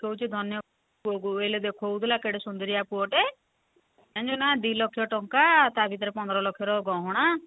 କହୁଛି ଧନ୍ୟ ପୁଅ କୁ ଦେଖୋଉଥିଲା କେଡେ ସୁନ୍ଦୁରିଆ ପୁଅ ଟେ ଜାଣିଚୁ ନା ନାଇଁ ଦି ଲକ୍ଷ ଟଙ୍କା ତା ଭିତରେ ପନ୍ଦର ଲକ୍ଷ ର ଗହଣା